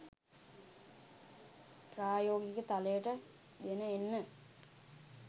ප්‍රායෝගික තලයට ගෙන එන්න